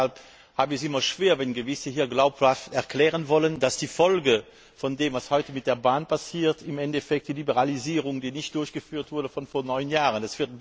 Deshalb habe ich es immer schwer, wenn gewisse Leute hier glaubhaft erklären wollen, dass die Folge dessen, was heute mit der Bahn passiert, im Endeffekt die Liberalisierung, die nicht durchgeführt wurde, von vor neun Jahren ist.